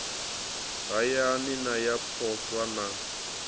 hayani na ya poswo na